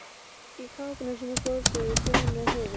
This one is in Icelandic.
Í kápunni sem fór svo í taugarnar á Heiðu.